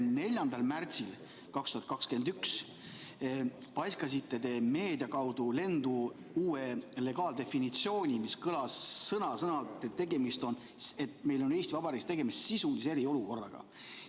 4. märtsil 2021 paiskasite te meedia kaudu lendu uue legaaldefinitsiooni, mis kõlas sõna-sõnalt nii, et meil on Eesti Vabariigis tegemist sisulise eriolukorraga.